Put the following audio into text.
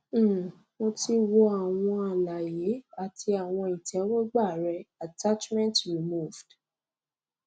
um mo ti wò àwọn àlàyé àti àwọn ìtẹwọgbà rẹ attachment removed